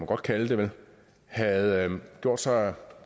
godt kalde dem der havde gjort sig